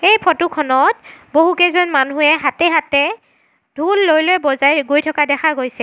এই ফটো খনত বহুকেইজন মানুহে হাতে হাতে ঢোল লৈ লৈ বজাই গৈ থকা দেখা গৈছে।